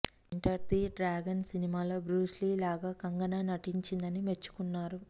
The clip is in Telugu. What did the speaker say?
ఎంటర్ ది డ్రాగన్ సినిమాలో బ్రూస్ లీ లాగా కంగనా నటించిందని మెచ్చుకున్నారు